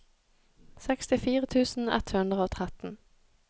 sekstifire tusen ett hundre og tretten